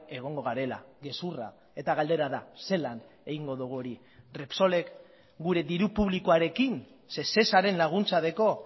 egongo garela gezurra eta galdera da zelan egingo dugu hori repsolek gure diru publikoarekin sesesaren laguntza dauka